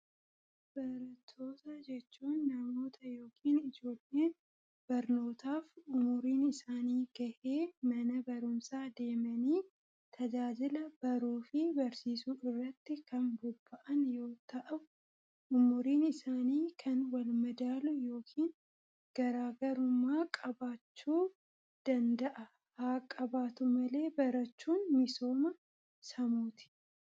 Baratoota jechuun namoota ykn ijoolleen barnootaaf umuriin isaanii gahee mana barumsaa deemanii tajaajila baruu fi barsiisuu irratti kan bobba'an yoo ta'u umuriin isaanii kan wal madaalu ykn garaagarumaa qabaachuu danda'a haaqabaatu malee barachuun misooma samuuti.